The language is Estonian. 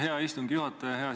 Hea istungi juhataja!